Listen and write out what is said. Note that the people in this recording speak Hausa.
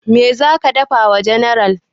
Meh zaka dafa wa general?